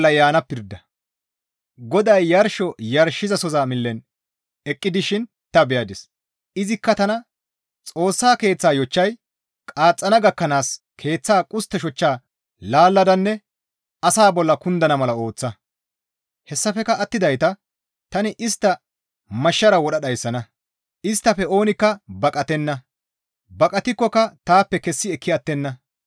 GODAY yarsho yarshizasoza millen eqqi dishin ta beyadis; izikka tana, «Xoossa Keeththaa yochchay qaaxxana gakkanaas keeththa qustte shoca laalladanne asaa bolla kundana mala ooththa; hessafekka attidayta tani istta mashshara wodha dhayssana; isttafe oonikka baqatenna; baqatikkoka taappe kessi ekki attenna.